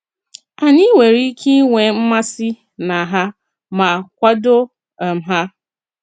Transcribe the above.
Ànyị nwere ike ịnwe mmasị na ha ma kwàdò um ha.